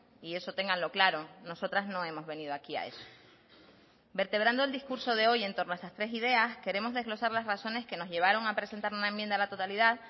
y eso ténganlo claro nosotras no hemos venido aquí a eso vertebrando el discurso de hoy en torno a estas tres ideas queremos desglosar las razones que nos llevaron a presentar una enmienda a la totalidad